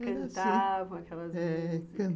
Cantavam aquelas músicas, é...